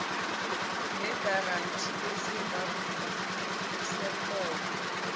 negaranti esingavuni sekhono